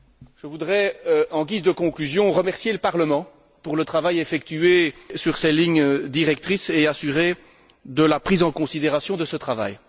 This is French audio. Je voudrais, en guise de conclusion, remercier le Parlement pour le travail effectué sur ces lignes directrices et l'assurer de la prise en considération de ce travail.